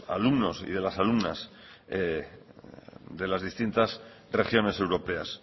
alumnos y de las alumnas de las distintas regiones europeas